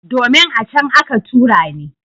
Domin, a can aka tura ni.